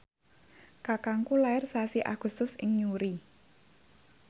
kakangku lair sasi Agustus ing Newry